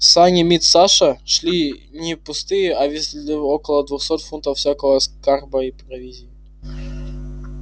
сани мит саша шли не пустые а везли около двухсот фунтов всякого скарба и провизии